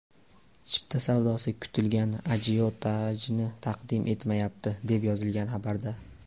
Chipta savdosi kutilgan ajiotajni taqdim etmayapti, deb yozilgan xabarda.